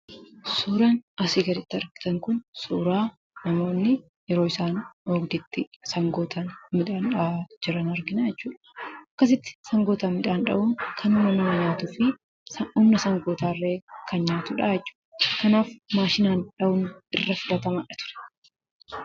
Suuraan asii gaditti argitan kun suuraa namoonni yeroo isaan oobdiitti sangootaan midhaan dha'aa jiran argina jechuudha. Akkasitti sangootaan midhaan dha'uun kan humna nama nyaatuu fi humna saawwota illee kan nyaatu dha jechuudha. Kanaaf maashinaan dha'uun irra filatamaa dha ture.